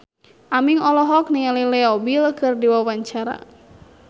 Aming olohok ningali Leo Bill keur diwawancara